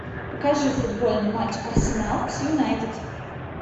покажи футбольный матч арсенал с юнайтед